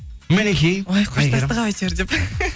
мінекей ой қоштастық ау әйтеуір деп